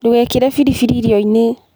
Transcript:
Ndũgekĩre biribiri irio-inĩ.